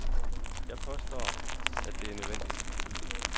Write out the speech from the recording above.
Jeg påstår, at det er nødvendigt.